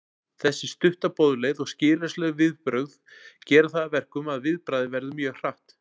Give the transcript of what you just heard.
Þessi stutta boðleið og skilyrðislaus viðbrögð gera það að verkum að viðbragðið verður mjög hratt.